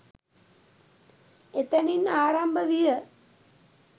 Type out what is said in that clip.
එතැනින් ආරම්භ විය.